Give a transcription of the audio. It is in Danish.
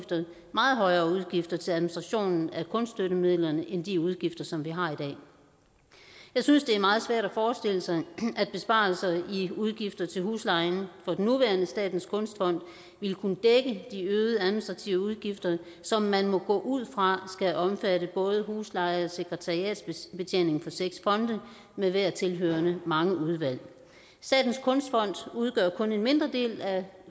meget højere udgifter til administrationen af kunststøttemidlerne end de udgifter som vi har i dag jeg synes det er meget svært at forestille sig at besparelser i udgifter til huslejen for den nuværende statens kunstfond ville kunne dække de øgede administrative udgifter som man må gå ud fra skal omfatte både husleje og sekretariatsbetjening for seks fonde med hver tilhørende mange udvalg statens kunstfond udgør kun en mindre del af